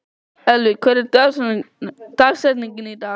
Edvard, stilltu niðurteljara á þrjátíu og sjö mínútur.